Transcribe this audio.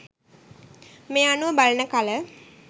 මේ අනුව බලන කල